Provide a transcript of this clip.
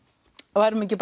við værum ekki